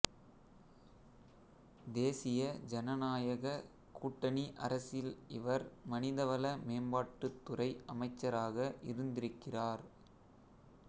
தேசிய ஜனநாயகக் கூட்டணி அரசில் இவர் மனிதவள மேம்பாட்டுத்துறை அமைச்சராக இருந்திருக்கிறார்